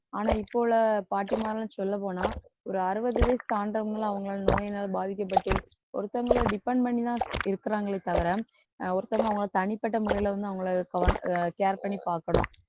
ஆனா இப்போ உள்ள பாட்டிமாரெல்லாம் சொல்லப்போனா ஒரு அறுபது வயசு தாண்டுறவுங்க அவங்களால நோயினால் பாதிக்கப்பட்டு ஒருத்தங்களை depend பண்ணிதான் இருக்கிறாங்களே தவிர அஹ் ஒருத்தவங்க அவங்களை தனிப்பட்ட முறையில வந்து அவங்களை கவன~ அஹ் care பண்ணி பாக்கணும்